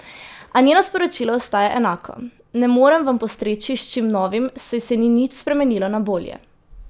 A njeno sporočilo ostaja enako: "Ne morem vam postreči s čim novim, saj se ni nič spremenilo na bolje.